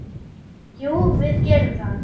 Jú, við gerum það.